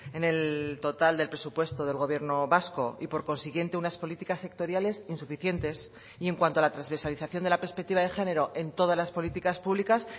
en el total del presupuesto del gobierno vasco y por consiguiente unas políticas sectoriales insuficientes y en cuanto a la transversalización de la perspectiva de género en todas las políticas públicas